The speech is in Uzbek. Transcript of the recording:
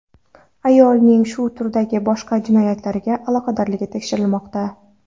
Ayolning shu turdagi boshqa jinoyatlarga aloqadorligi tekshirilmoqda.